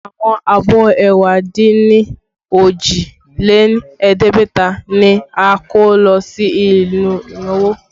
Àwọn abọ́ ẹ̀wá dín ní òjì lé ẹ̀ẹ́dẹ́gbẹ̀ta ni a kó lọ sí ibi ìnáwó